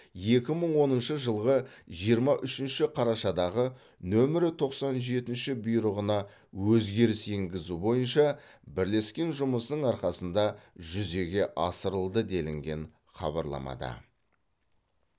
екі мың оныншы жылғы жиырма үшінші қарашадағы нөмірі тоқсан жетінші бұйрығына өзгеріс енгізу бойынша бірлескен жұмысының арқасында жүзеге асырылды делінген хабарламада